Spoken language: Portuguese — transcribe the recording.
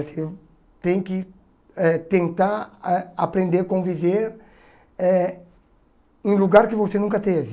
Você tem que eh tentar eh aprender a conviver eh em lugar que você nunca teve.